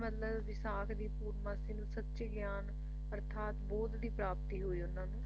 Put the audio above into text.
ਮਤਲਬ ਵਿਸਾਖ ਦੀ ਪੂਰਨਮਾਸ਼ੀ ਨੂੰ ਸੱਚੇ ਗਿਆਨ ਅਰਥਾਤ ਬੌਧ ਦੀ ਪ੍ਰਾਪਤੀ ਹੋਈ ਉਹਨਾਂ ਨੂੰ